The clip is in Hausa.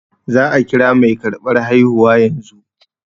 Za a kira mai karɓar haihuwa yanzu